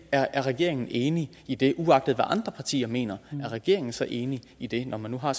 er regeringen enig i det uagtet hvad andre partier mener er regeringen så enig i det når man nu har